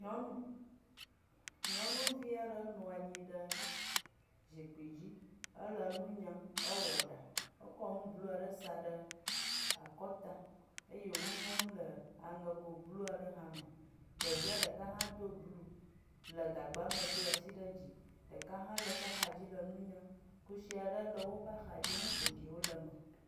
Nyɔnuvi aɖe nɔ anyi ɖe zikpui dzi. Ele nu nyam. Ewɔ ɖa. Ekɔ nu blu aɖe sa ɖe akɔta eye wo nu nyam le aŋego blu aɖe me. Ɖevia ɖeka hã do blu le gagba me do asi ɖe dzi. Ɖeka hã le eƒe axa dzi le nu nyam. Kusi aɖe le woƒe axa dzi nu ƒoɖiwo le eme.